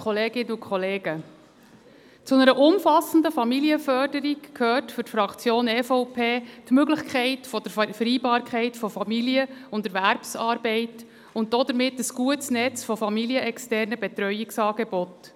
Zu einer umfassenden Familienförderung gehört für die Fraktion EVP die Möglichkeit der Vereinbarkeit von Familie und Erwerbsarbeit und damit ein gutes Netz von familienexternen Betreuungsangeboten.